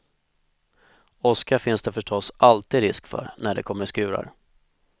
Åska finns det förstås alltid risk för när det kommer skurar.